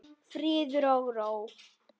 Friður og ró.